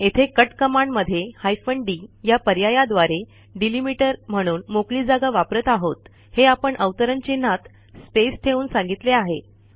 येथे कट कमांडमध्ये hyphen D या पर्यायाद्वारे डेलिमीटर म्हणून मोकळी जागा वापरत आहोत हे आपण अवतरण चिन्हात स्पेस ठेवून सांगितले आहे